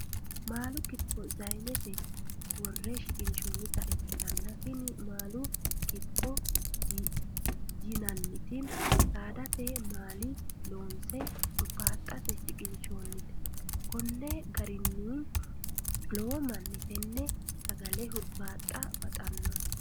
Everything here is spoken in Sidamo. Maalu kitifo sayinete wore shiqinshonnitta ikkitanna, tini maalu kitifoti yinanitti saadate maalini loonse huribaxxte shiqinshannite, koni garininno lowo manni tene sagale huribaaxxa baxxanno